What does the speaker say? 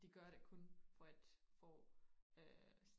de gør det kun for at få øh